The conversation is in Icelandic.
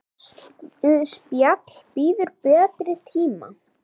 Það spjall bíður betri tíma.